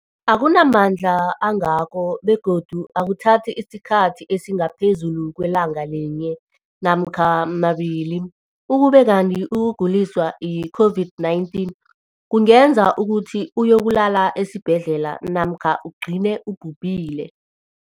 akuna mandla angako begodu akuthathi isikhathi esingaphezulu kwelanga linye namkha mabili, ukube kanti ukuguliswa yi-COVID-19 kungenza ukuthi uyokulala esibhedlela namkha ugcine ubhubhile.